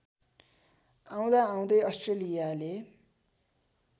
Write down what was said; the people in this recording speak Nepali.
आउँदाआउँदै अस्ट्रेलियाले